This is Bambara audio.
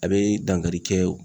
A be dankari kɛ